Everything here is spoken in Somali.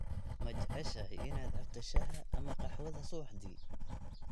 Ma jeceshahay inaad cabto shaaha ama qaxwada subaxdii?